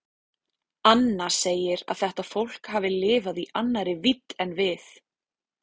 Anna segir að þetta fólk hafi lifað í annarri vídd en við.